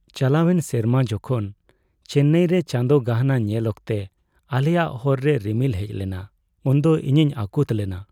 ᱪᱟᱞᱟᱣᱮᱱ ᱥᱮᱨᱢᱟ ᱡᱚᱠᱷᱚᱱ ᱪᱮᱱᱱᱟᱭᱨᱮ ᱪᱟᱸᱫᱳ ᱜᱟᱦᱱᱟᱜ ᱧᱮᱞ ᱚᱠᱛᱮ ᱟᱞᱮᱭᱟᱜ ᱦᱚᱨ ᱨᱮ ᱨᱤᱢᱤᱞ ᱦᱮᱡ ᱞᱮᱱᱟ ᱩᱱᱫᱚ ᱤᱧᱤᱧ ᱟᱹᱠᱩᱛ ᱞᱮᱱᱟ ᱾